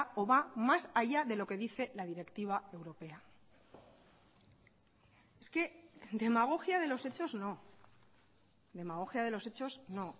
o va más allá de lo que dice la directiva europea es que demagogia de los hechos no demagogia de los hechos no